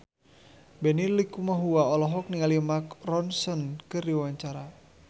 Benny Likumahua olohok ningali Mark Ronson keur diwawancara